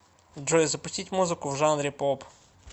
джой запустить музыку в жанре поп